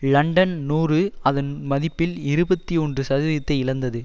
London நூறு அதன் மதிப்பில் இருபத்தி ஒன்று சதவிகிதத்தை இழந்தது